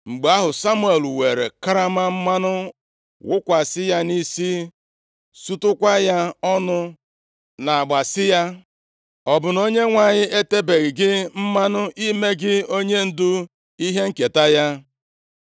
Mgbe ahụ, Samuel weere karama mmanụ wụkwasị ya nʼisi, sutukwa ya ọnụ nʼagba sị ya, “Ọ bụ na Onyenwe anyị etebeghị gị mmanụ ime gị onyendu ihe nketa ya?